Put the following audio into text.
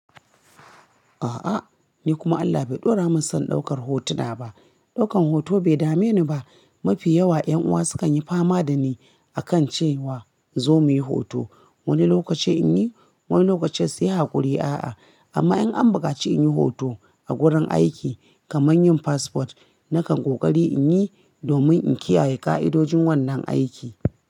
A'a, ni kuma Allah bai ɗora min son ɗaukar hotuna ba. Ɗaukan hoto bai dame ni ba. Mafi yawa ƴan uwa sukan yi fama da ni, a kan cewa zo muyi hoto. Wani lokaci in yi, wani lokaci sai haƙuri. A'a, amma in an buƙaci in yi hoto, a gurin aiki, kamar yin passport, nakan ƙoƙari in yi, domin in kiyaye ƙa'idojin wannan aiki.